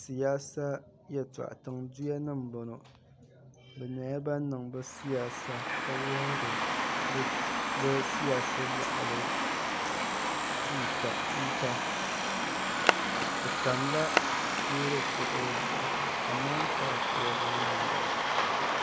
siyaasa yɛltɔɣa tiŋ duyanima m-bɔŋɔ bɛ nyɛla ban n-niŋ bɛ siyaasa ka wuhiri bɛ siyaasa yaɣili chuuta bɛ tamila loori kurili zuɣu amɔnkaa kurili n-yen m-bala